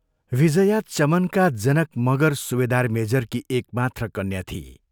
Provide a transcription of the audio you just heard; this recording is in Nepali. विजया चमनका जनैक मगर सुबेदार मेजरकी एक मात्र कन्या थिई।